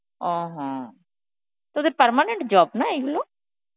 অঃ হম তোদের permanent job না, এইগুলো?